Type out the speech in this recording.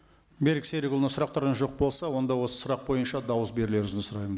берік серікұлына сұрақтарыңыз жоқ болса онда осы сұрақ бойынша дауыс берулеріңізді сұраймын